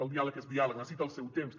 el diàleg és diàleg necessita el seu temps